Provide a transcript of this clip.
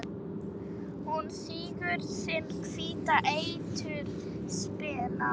Hún sýgur sinn hvíta eitur spena.